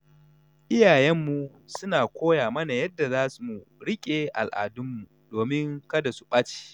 Iyayenmu suna koya mana yadda za mu riƙe al’adunmu domin kada su ɓace.